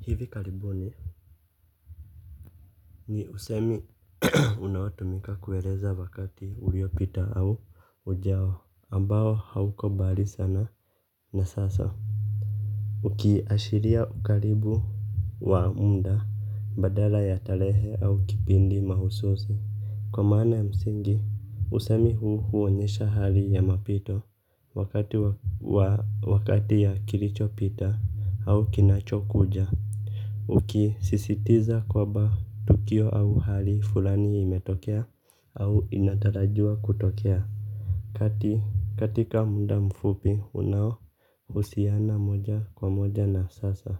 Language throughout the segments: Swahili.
Hivi karibuni ni usemi unao tumika kueleza wakati uliopita au ujao ambao hauko mbali sana na sasa ukiashiria ukaribu wa muda badala ya tarehe au kipindi mahususi kwa maana ya msingi usemi huu huonyesha hali ya mapito wakati ya kilicho pita au kinacho kuja. Ukisisitiza kwamba tukio au hali fulani limetokea au inatarajiwa kutokea. Kati katika muda mfupi unao husiana moja kwa moja na sasa.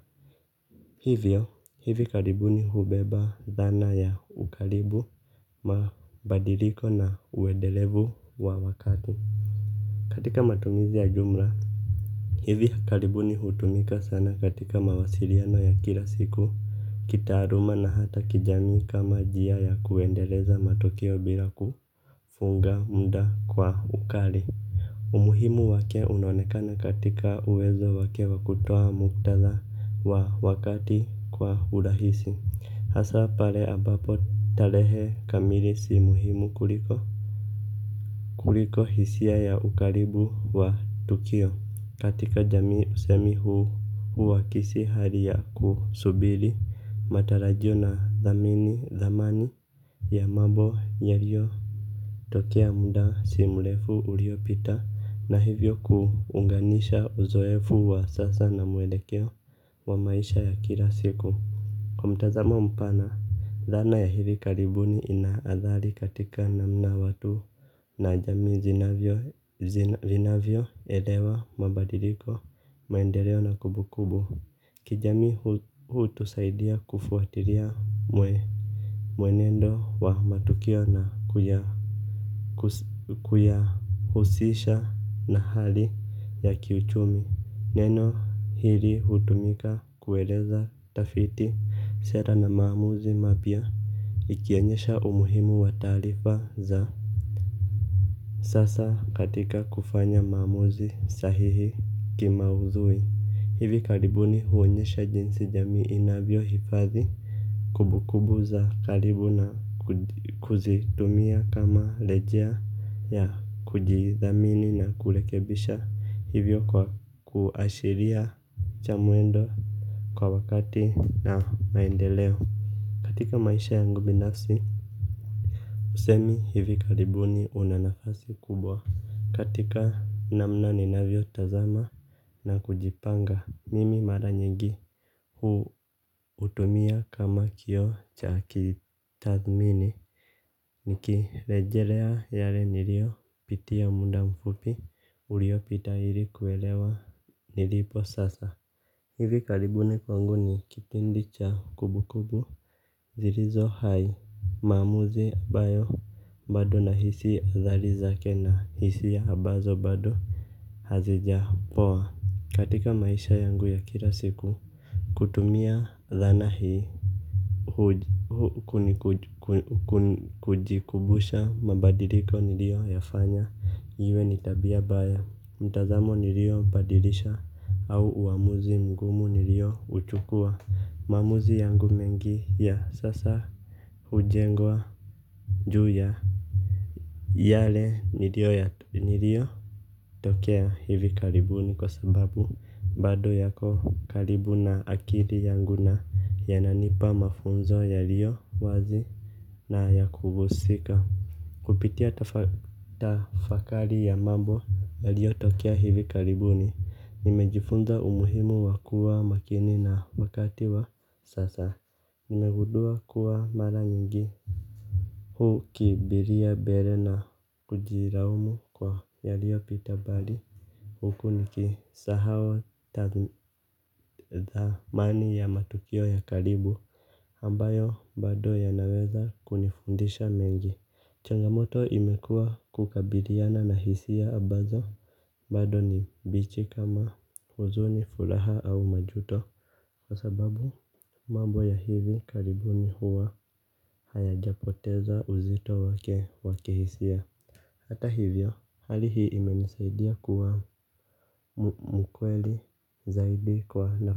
Hivyo hivi karibuni hubeba dhana ya ukaribu mabadiliko na uendelevu wa wakati. Katika matumizi ya jumla hivi karibuni hutumika sana katika mawasiliano ya kila siku kitaaluma na hata kijamii kama njia ya kuendeleza matokeo bila ku funga muda kwa ukali umuhimu wake unaonekana katika uwezo wake wa kutoa muktadha wa wakati kwa urahisi. Hasa pale ambapo tarehe kamili si muhimu kuliko kuliko hisia ya ukaribu wa tukio katika jamii usemi huu uakisi hali ya kusubiri matarajio na thamini thamani ya mambo yalio tokea muda si mrefu uliopita na hivyo kuunganisha uzoefu wa sasa na mwelekeo wa maisha ya kila siku. Kwa mtazamo mpana, dhana ya hivi karibuni inaadhari katika namna watu na jami zinavyo elewa mabadiliko maendeleo na kumbukumbu. Kijamii hutusaidia kufuatilia mwenendo wa matukio na kuyahusisha na hali ya kiuchumi. Neno hili hutumika kueleza tafiti sera na maamuzi mabia. Ikionyesha umuhimu wa taarifa za sasa katika kufanya maamuzi sahihi kimaudhui hivi karibuni huonyesha jinsi jamii inavyo hifadhi. Kumbukumbu za karibu na kuzitumia kama rejea ya kujidhamini na kurekebisha hivyo kwa kuashiria cha muendo kwa wakati na maendeleo. Katika maisha yangu binafsi. Usemi hivi karibuni una nafasi kubwa. Katika namna ni navio tazama na kujipanga mimi mara nyingi hu utumia kama kioo cha kitathmini. Nikirejelea yale niliopitia muda mfupi uliopita ili kuelewa nilipo sasa. Hivi karibuni kwangu ni kipindi cha kumbukumbu zilizo hai maamuzi ambayo bado nahisi athari zake na hisia ambazo bado hazija poa katika maisha yangu ya kila siku. Kutumia dhana hii kujikumbusha mabadiliko nilio yafanya yawe ni tabia mbaya. Mtazamo nilio badilisha au uamuzi mgumu nilio uchukua. Maamuzi yangu mengi ya sasa hujengwa juu ya yale nilio ya nilio tokea hivi karibuni kwasababu bado yako karibu na akili yangu na ya nanipa mafunzo yaliyowazi na yakuhusika. Kupitia tafakari ya mambo yaliyo tokea hivi karibuni nimejifunza umuhimu wa kuwa makini na wakati wa sasa nimegundua kuwa mara nyingi hu kimbilia mbele na kujilaumu kwa yaliyo pita bali huku nikisahau thamani ya matukio ya karibu ambayo bado yanaweza kunifundisha mengi. Changamoto imekua kukabiliana na hisia ambazo bado ni mbichi kama huzuni furaha au majuto. Kwasababu mambo ya hivi karibuni huwa haya japoteza uzito wake wa kihisia. Hata hivyo hali hii imenisaidia kuwa mkweli zaidi kwa hio.